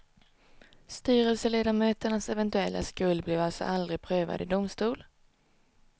Styrelseledamöternas eventuella skuld blev alltså aldrig prövad i domstol.